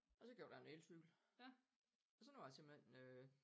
Og så købte jeg en elcykel og så nu har jeg simpelthen øh